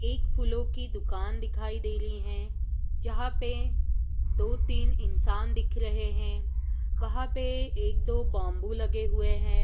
एक फूलों की दुकान दिखाई दे रही है जहां पे दो तीन इंसान दिख रहे हैं| वहां पे एक दो बम्बू लगे हुए हैं।